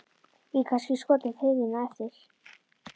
Ég get kannski skotist til þín á eftir.